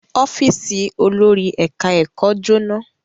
Ọ́fíísì olórí ẹ̀ka-ẹ̀kọ́ jóná.